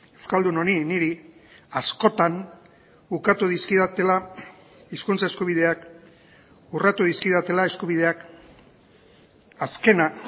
euskaldun honi niri askotan ukatu dizkidatela hizkuntza eskubideak urratu dizkidatela eskubideak azkena